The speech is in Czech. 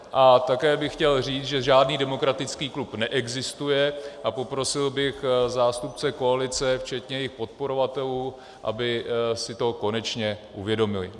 A také bych chtěl říct, že žádný demokratických klub neexistuje, a poprosil bych zástupce koalice, včetně jejich podporovatelů, aby si to konečně uvědomili.